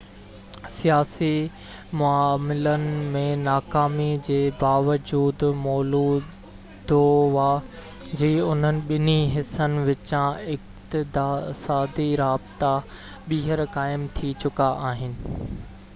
سياسي معاملن ۾ ناڪامي جي باوجود مولودووا جي انهن ٻنهي حصن وچان اقتصادي رابطا ٻيهر قائم ٿي چڪا آهن